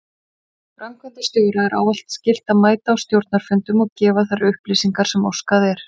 Framkvæmdastjóra er ávallt skylt að mæta á stjórnarfundum og gefa þær upplýsingar sem óskað er.